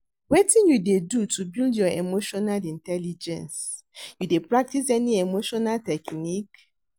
Wetin you dey do to build your emotional intelligence, you dey practice any emotional techniques?